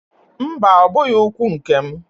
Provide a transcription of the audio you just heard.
Mba! Ọ bụghị ụkwụ nke m.